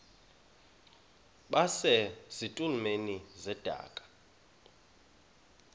base zitulmeni zedaka